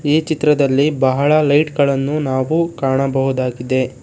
ಈ ಚಿತ್ರದಲ್ಲಿ ಬಹಳ ಲೈಟ್ ಗಳನ್ನು ನಾವು ಕಾಣಬಹುದಾಗಿದೆ.